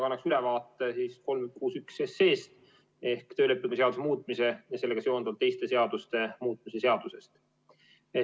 Annan ülevaate eelnõust 361 ehk töölepingu seaduse muutmise ja sellega seonduvalt teiste seaduste muutmise seadusest.